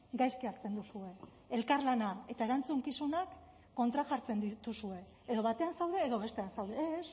gaizki hartzen duzue elkarlana eta erantzukizunak kontrajartzen dituzue edo batean zaude edo bestean zaude ez